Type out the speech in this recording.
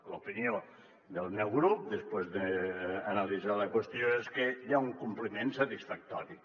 l’opinió del meu grup després d’ana·litzar la qüestió és que hi ha un compliment satisfactori